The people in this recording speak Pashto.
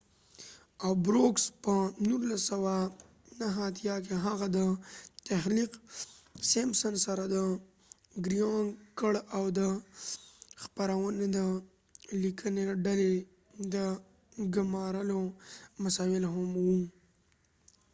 په 1989 کې هغه د brooks او groening سره د simpsons تخلیق کړ او د خپرونې د لیکنې ډلې د ګمارلو مسؤل هم و